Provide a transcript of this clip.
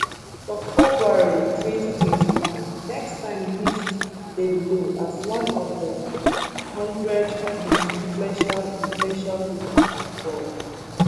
for february 2021 next time list davido as one of di one hundred most influential influential pipo for di world